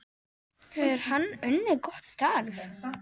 Hefur hann unnið gott starf?